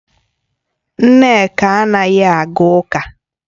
Nneka anaghi aga uka